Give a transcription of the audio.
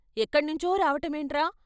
ఎక్కణ్ణించో రావటమేంట్రా....